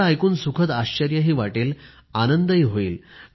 तुम्हाला ऐकून सुखद आश्चर्यही वाटेल आनंद होईल